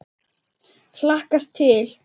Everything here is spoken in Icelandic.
Hlakkar til.